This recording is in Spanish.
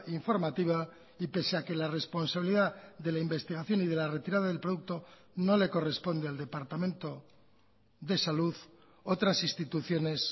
informativa y pese a que la responsabilidad de la investigación y de la retirada del producto no le corresponde al departamento de salud otras instituciones